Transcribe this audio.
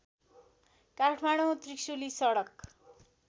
काठमाडौँ त्रिशुली सडक